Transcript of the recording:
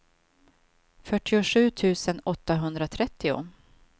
fyrtiosju tusen åttahundratrettio